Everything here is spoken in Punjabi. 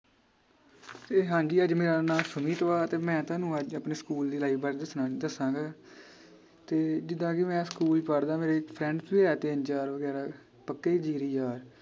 ਤੇ ਹਾਂਜੀ ਅੱਜ ਮੇਰਾ ਨਾਂ ਸੁਮੀਤ ਵਾ ਤੇ ਮੈ ਤੁਹਾਨੂੰ ਅੱਜ ਆਪਣੀ ਸਕੂਲ ਦੀ life ਬਾਰੇ ਦਸਣਾ ਦੱਸਾਂਗਾ ਤੇ ਜਿਦਾਂ ਕਿ ਮੈ ਸਕੂਲ ਪੜ੍ਹਦਾ ਮੇਰੀ friends ਵੀ ਹੈ ਤਿੰਨ ਚਾਰ ਵਗੈਰਾ ਪੱਕੇ ਜਿਗਰੀ ਯਾਰ